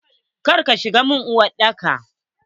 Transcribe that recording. kar ka shiga mun uwar daka!